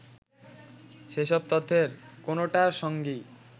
সেসব তথ্যের কোনোটার সঙ্গেই